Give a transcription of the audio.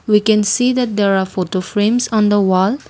we can see there are photo frames on the wall.